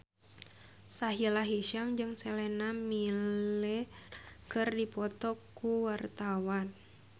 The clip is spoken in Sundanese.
Sahila Hisyam jeung Sienna Miller keur dipoto ku wartawan